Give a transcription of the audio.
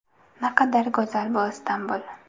Naqadar go‘zal bu Istanbul!